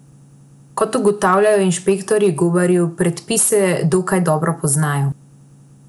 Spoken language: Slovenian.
Kot ugotavljajo inšpektorji, gobarji predpise dokaj dobro poznajo.